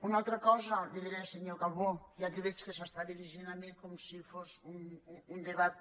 una altra cosa li diré senyor calbó ja que veig que s’està dirigint a mi com si fos un debat